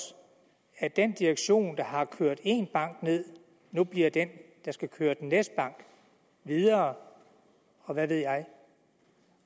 at den direktion der har kørt én bank ned nu bliver den der skal køre den næste bank videre og hvad ved jeg